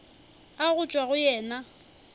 a go tšwa go yena